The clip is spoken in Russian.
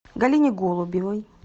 галине голубевой